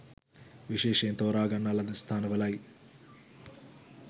විශේෂයෙන් තෝරාගන්නා ලද ස්ථාන වලයි.